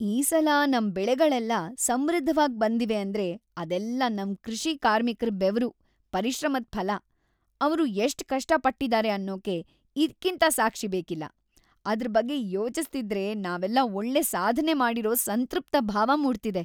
ಈ ಸಲ ನಮ್‌ ಬೆಳೆಗಳೆಲ್ಲ ಸಮೃದ್ಧವಾಗ್‌ ಬಂದಿವೆ ಅಂದ್ರೆ ಅದೆಲ್ಲ ನಮ್‌ ಕೃಷಿ ಕಾರ್ಮಿಕ್ರ ಬೆವರು, ಪರಿಶ್ರಮದ್‌ ಫಲ.. ಅವ್ರು ಎಷ್ಟ್ ಕಷ್ಟ ಪಟ್ಟಿದಾರೆ ಅನ್ನೋಕೆ ಇದ್ಕಿಂತ ಸಾಕ್ಷಿ ಬೇಕಿಲ್ಲ. ಅದ್ರ್‌ ಬಗ್ಗೆ ಯೋಚಿಸ್ತಿದ್ರೆ ನಾವೆಲ್ಲ ಒಳ್ಳೆ ಸಾಧ್ನೆ ಮಾಡಿರೋ ಸಂತೃಪ್ತ ಭಾವ ಮೂಡ್ತಿದೆ.